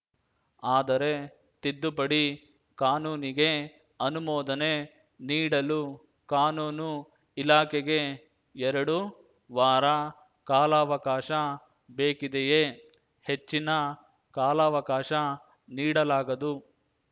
ಆದರೆ ತಿದ್ದುಪಡಿ ಕಾನೂನಿಗೆ ಅನುಮೋದನೆ ನೀಡಲು ಕಾನೂನು ಇಲಾಖೆಗೆ ಎರಡು ವಾರ ಕಾಲಾವಕಾಶ ಬೇಕಿದೆಯೇ ಹೆಚ್ಚಿನ ಕಾಲಾವಕಾಶ ನೀಡಲಾಗದು